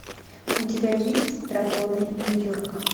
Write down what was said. у тебя есть драконы нью йорка